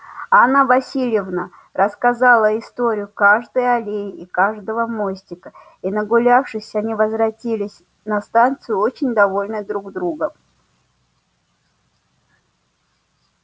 анна власьевна рассказала историю каждой аллеи и каждого мостика и нагулявшись они возвратились на станцию очень довольные друг другом